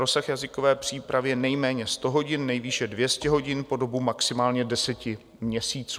Rozsah jazykové přípravy je nejméně 100 hodin, nejvýše 200 hodin po dobu maximálně deseti měsíců.